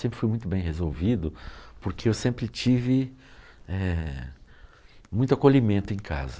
Sempre foi muito bem resolvido, porque eu sempre eh tive muito acolhimento em casa.